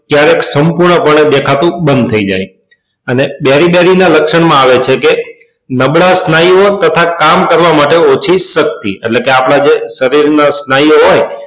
ક્યારેક સંપૂર્ણ પને દેખાવા નું બંદ થઇ જાય અને બેરી બેરી ના લક્ષણ માં આવે છે કે નબળા સ્નાયુ ઓ તથા કામ કરવા માટે ઓછી શક્તિ એટલે કે આપડે જે શરીર ના સ્નાયુ ઓ હોય